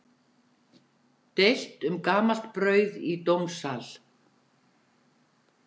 Deilt um gamalt brauð í dómssal